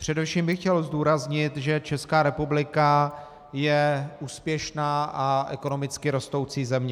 Především bych chtěl zdůraznit, že Česká republika je úspěšná a ekonomicky rostoucí země.